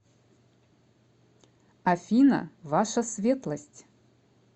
афина ваша светлость